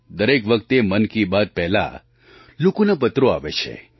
દરેક વખતે મન કી બાત પહેલાં લોકોના પત્રો આવે છે